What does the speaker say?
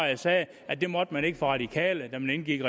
jeg sagde at det måtte man ikke for radikale da man indgik i